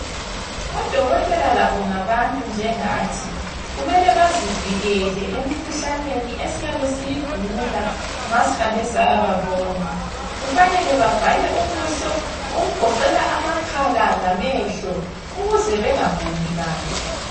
Odokotela labo ngabantu njengathi, kumele bazivikele emkhuhlaneni esiyabe siyigula nxa sihambe sayababona. Kufanele bavale ubuso, okugoqela amakhala lamehlo ukuze bengaguli bantu.